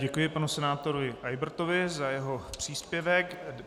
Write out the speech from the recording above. Děkuji panu senátorovi Eybertovi za jeho příspěvek.